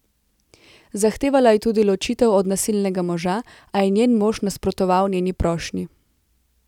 Zahtevala je tudi ločitev od nasilnega moža, a je njen mož nasprotoval njeni prošnji.